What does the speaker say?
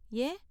யேன்?